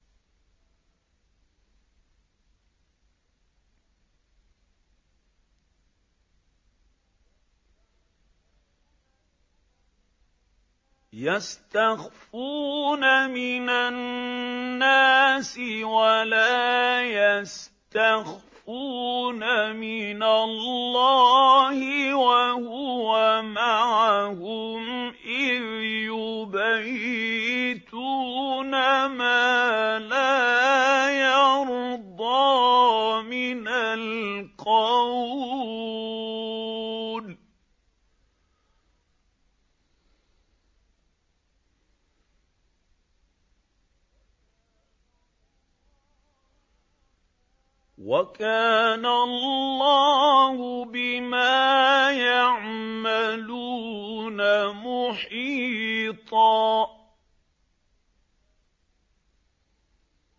يَسْتَخْفُونَ مِنَ النَّاسِ وَلَا يَسْتَخْفُونَ مِنَ اللَّهِ وَهُوَ مَعَهُمْ إِذْ يُبَيِّتُونَ مَا لَا يَرْضَىٰ مِنَ الْقَوْلِ ۚ وَكَانَ اللَّهُ بِمَا يَعْمَلُونَ مُحِيطًا